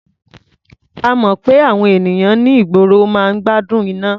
A mọ̀ pé àwọn ènìyàn ní ìgboro máa ń gbádùn iná.